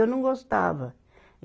Eu não gostava.